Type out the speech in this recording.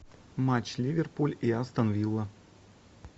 матч ливерпуль и астон вилла